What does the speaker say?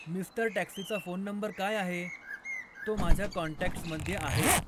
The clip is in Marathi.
मिस्टर टॅक्सीचा फोन नंबर काय आहे, तो माझ्या कॉन्टॅक्टसमध्ये आहे